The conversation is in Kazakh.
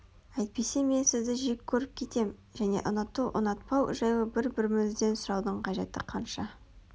Әйтпесе мен сізді жек көріп кетем және ұнату ұнатпау жайлы бір-бірімізден сұраудың қажеті қанша